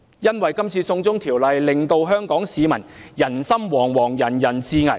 這次"送中條例"令香港市民人心惶惶、人人自危。